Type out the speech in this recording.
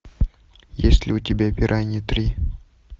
есть ли у тебя пираньи три